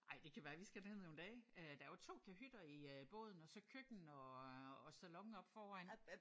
Ej det kan være vi skal ned nogle dage øh der er jo 2 kahytter i øh båden og så køkken og og salon oppe foran